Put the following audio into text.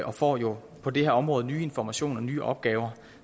og får jo på det her område nye informationer og nye opgaver